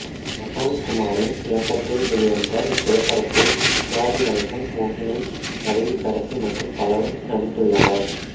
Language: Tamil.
பிரசாந்த்குமாரின் இயக்கத்தில் வெளிவந்த இத்திரைப்படத்தில் சிவாஜி கணேசன் மோகினி வடிவுக்கரசி மற்றும் பலரும் நடித்துள்ளனர்